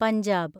Punjab